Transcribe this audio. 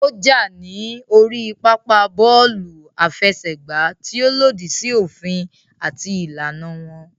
Ó jà ní orí pápá bọ́ọ̀lù àfẹsẹ̀gbá tí ó lòdì sí òfin àti ìlànà wọn